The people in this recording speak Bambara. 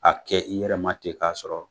A kɛ i yɛrɛma ten k'a sɔrɔ.